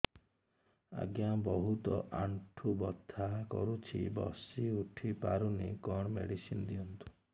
ଆଜ୍ଞା ବହୁତ ଆଣ୍ଠୁ ବଥା କରୁଛି ବସି ଉଠି ପାରୁନି କଣ ମେଡ଼ିସିନ ଦିଅନ୍ତୁ